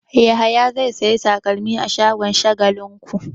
Yahaya zai sayi takalma a shagon Shagalinku.